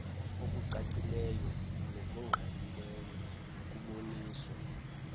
okucacileyo nokungqalileyo nokuboniswa